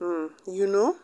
um you know